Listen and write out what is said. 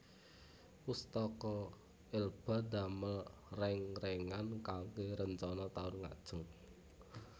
Pustaka Elba ndamel reng rengan kangge rencana taun ngajeng